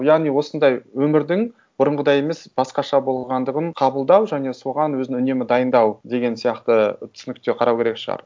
яғни осындай өмірдің бұрынғыдай емес басқаша болғандығын қабылдау және соған өзін үнемі дайындау деген сияқты түсінікте қарау керек шығар